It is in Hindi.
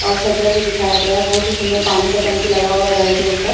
और छज्जा भी दिखाया हुआ है बहुत ही सुंदर पानी का टंकी लगा हुआ है घर के ऊपर --